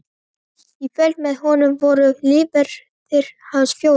Í fylgd með honum voru lífverðir hans fjórir.